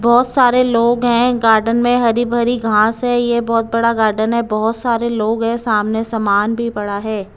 बहुत सारे लोग हैं गार्डन में हरी भरी घास है यह बहुत बड़ा गार्डन है बहुत सारे लोग हैं सामने सामान भी पड़ा है।